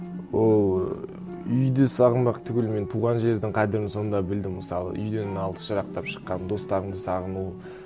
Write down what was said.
ол үйді сағынбақ түгіл мен туған жердің қадірін сонда білдім мысалы үйден алыс жырақтап шыққан достарыңды сағыну